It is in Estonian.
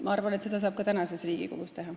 Ma arvan, et seda saab ka tänases Riigikogus teha.